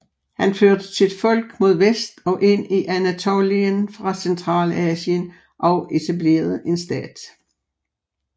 Han førte sit folk mod vest og ind i Anatolien fra Centralasien og etablerede en stat